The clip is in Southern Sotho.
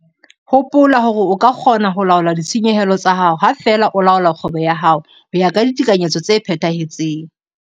Hopola hore o ka kgona ho laola ditshenyehelo tsa hao ha feela o laola kgwebo ya hao ho ya ka ditekanyetso tse phethahetseng.